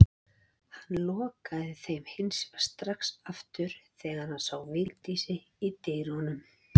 Hann lokaði þeim hins vegar strax aftur þegar hann sá Vigdísi í dyrunum.